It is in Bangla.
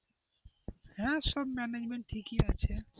হ্যাঁ সব management ঠিকই আছে.